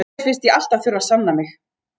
Mér finnst ég alltaf þurfa að sanna mig.